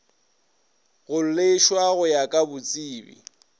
kgoleswa go ya ka botsebi